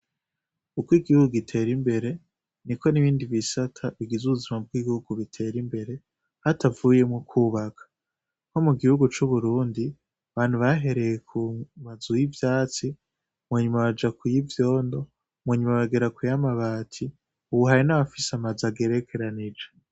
Ukwigihuga giter'imbere niko n'ibindi bisata bigiz 'ubuzima bw'igihugu biter'imbere hatavuyemwo kubaka, nko mugihugu c'Uburundi abantu bahereye kumazu y'ivyatsi, munyuma baja kuyivyondo ,munyuma bagera kuy'amata ,ubu hari nabafis 'amazu agerekeranije.